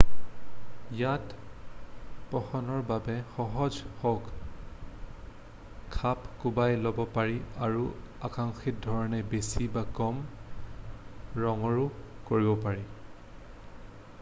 ইয়াক পঠনৰ বাবে সহজ হোৱাকৈ খাপ কুৱাই ল'ব পাৰি আৰু আকাংক্ষিত ধৰণে বেছি বা কম ৰঙৰো কৰিব পাৰি